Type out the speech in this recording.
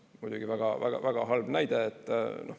Muidugi väga halb näide.